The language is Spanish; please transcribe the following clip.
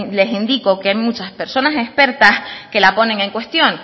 les indico que hay muchas personas expertas que la ponen en cuestión